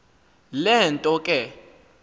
le nto ke